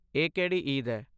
ਇਹ ਕਿਹੜੀ ਈਦ ਹੈ?